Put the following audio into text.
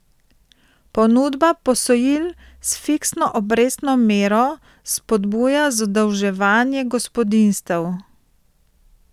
Ponudba posojil s fiksno obrestno mero spodbuja zadolževanje gospodinjstev.